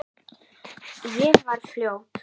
Ég var fljót.